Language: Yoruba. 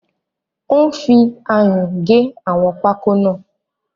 Ó ń fi ayùn gé àwọn pákó náà